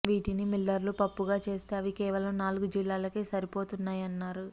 వీటిని మిల్లర్లు పప్పుగా చేస్తే అవి కేవలం నాలుగు జిల్లాలకే సరిపోతున్నాయన్నారు